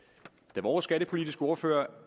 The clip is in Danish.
da vores skattepolitiske ordfører